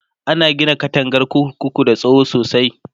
ana Gina katangar kurkuku da tsawo sosai